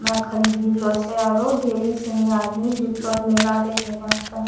में खरीदी रहलो छे आरो ढेरी सनी आदमी जुटलो छे मेला देखे वास्तअ।